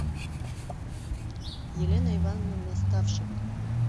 елена ивановна наставшева